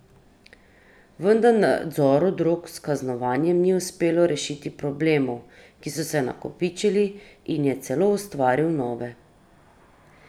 Vendar nadzoru drog s kaznovanjem ni uspelo rešiti problemov, ki so se nakopičili, in je celo ustvaril nove.